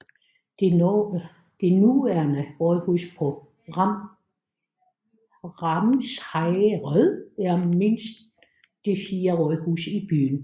Det nuværende rådhus på Ramsherred er mindst det fjerde rådhus i byen